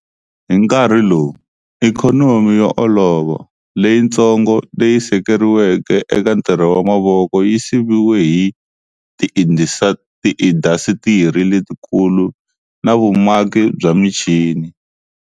Hi nkarhi lowu, ikhonomi yo olova, leyitsongo leyi sekeriweke eka ntirho wa mavoko yi siviwe hi tiindasitiri letikulu na vumaki bya michini.